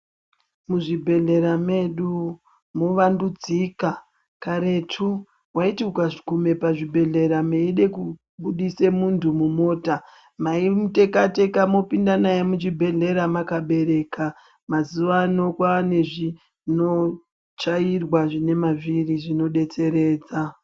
Muzvibhedhlera medu movandudzika, karetu waiti ukaguma pazvibhedhlera meida kubudisa muntu mumota maimutekateka mopinda naye muchibhedhleya mwakamubereka . Mazuwa ano kwaanezvino chairwa zvinemavhiri zvinodetseredza.